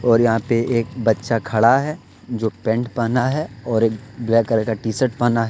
और यहां पे एक बच्चा खड़ा है जो पैंट पहना है और एक ब्लैक कलर का टी शर्ट पहना है।